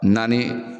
Naani